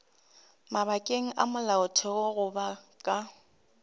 mabakeng a molaotheo goba ka